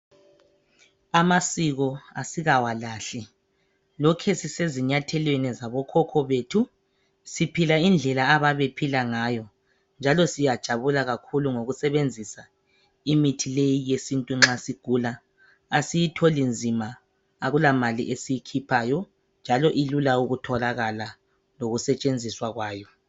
Amasiko asikawalahli, lokhesise zinyathelweni zabokhokho bethu. Siphila ngendlela ababephila ngayo, njalo siyajabula kakhulu ngokusebenzisa imithi leyi yesintu nxa sigula. Asiyitholi nzima akulamali esiyikhiphayo njalo ilula ukutholakala, lokusetshenziswa kwayo.